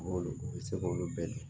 I bɛ se k'olu bɛɛ dun